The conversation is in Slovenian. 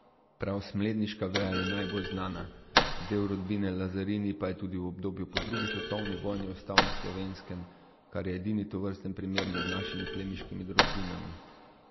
Prav smledniška veja je najbolj znana, del rodbine Lazarini pa je tudi v obdobju po drugi svetovni vojni ostal na Slovenskem, kar je edini tovrsten primer med našimi plemiškimi rodbinami.